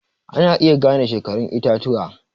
Ana iya gane shekarun itatuwa